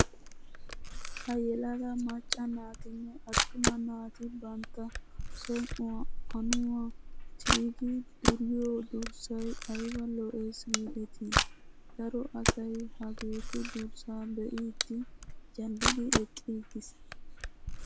Ha yelaga macca naatinne attuma naati bantta som'uwaa aannuwaa ti'idi duriyoo durssayi ayiba lo'es giideti! Daro asayi hageetu durssaa be'iddi jallidi eqqiiges.